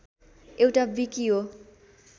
एउटा विकि हो